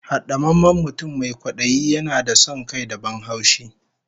Hadamammen mutum mai kwadayi yana da son kai da ban haushi